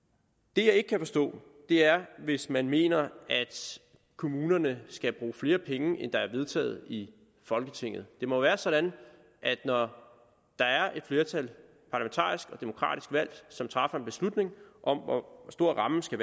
det jeg ikke kan forstå er hvis man mener at kommunerne skal bruge flere penge end der er vedtaget i folketinget det må være sådan at når der er et parlamentarisk flertal demokratisk valgt som træffer en beslutning om hvor stor rammen skal